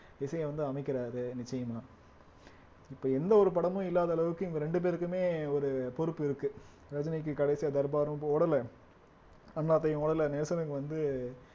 இசையை வந்து அமைக்கிறாரு நிச்சயமா இப்ப எந்த ஒரு படமும் இல்லாத அளவுக்கு இவங்க ரெண்டு பேருக்குமே ஒரு பொறுப்பு இருக்கு ரஜினிக்கு கடைசியா தர்பாரும் இப்ப ஓடல அண்ணாத்தையும் ஓடல நெல்சனுக்கு வந்து